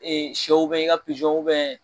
sɛw bɛ yen i ka